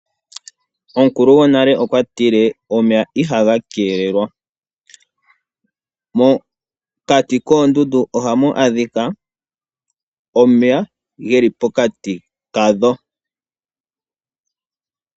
Omukulu gwonale okwa tile, "omeya iha ga keelelwa, " mokati koondundu oha mu adhika omeya ge li pokati kadho.